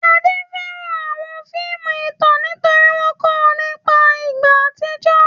Ade fẹ́ràn àwọn fíìmù ìtàn nítorí wọ́n kọ́ ọ nípa ìgbà àtijọ́.